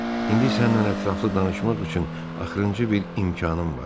İndi sənlə ətraflı danışmaq üçün axırıncı bir imkanım var.